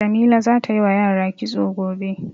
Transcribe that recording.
Jamila za ta yi wa yara kitso gobe.